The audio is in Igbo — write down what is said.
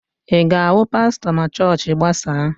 Ị ga-ahụ pastọ ma chọọchị gbasaa?